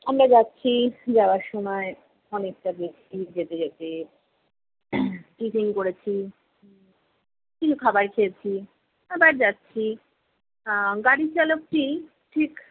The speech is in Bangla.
আমরা যাচ্ছি, যাওয়ার সময় অনেকটা গেছি, যেতে যেতে tiffin করেছি, উম কিছু খাবার খেয়েছি, আবার যাচ্ছি। আহ গাড়ির চালকটি ঠিক